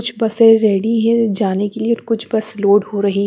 कुछ बसें रेडी हैं जाने के लिए कुछ बस लोड हो रही--